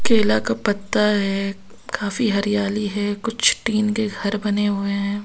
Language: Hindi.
केला का पत्ता है काफी हरियाली है कुछ टीन के घर बने हुए हैं।